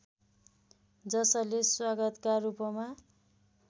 जसले स्वागतका रूपमा